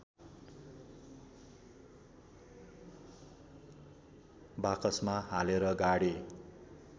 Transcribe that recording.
बाकसमा हालेर गाडे